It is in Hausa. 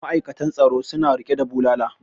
ma'aikatan tsaron suna rike da bulala